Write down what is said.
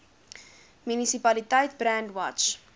munisipaliteit brandwatch